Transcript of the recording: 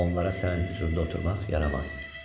Onlara sənin hüzurunda oturmaq yarammaz.